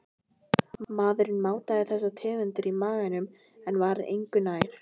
Maðurinn mátaði þessar tegundir í maganum en var engu nær.